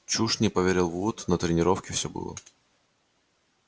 чушь не поверил вуд на тренировке всё было